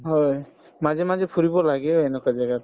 হয়, মাজে মাজে ফুৰিব লাগেই এনেকুৱা জাগাত